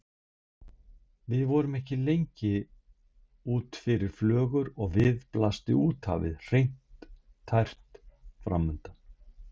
Við vorum ekki lengi út fyrir flögur og við blasti úthafið, hreint og tært, framundan.